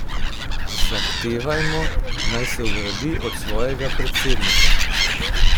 Zahtevajmo, naj se ogradi od svojega predsednika.